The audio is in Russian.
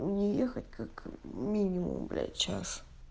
мне ехать как минимум блять час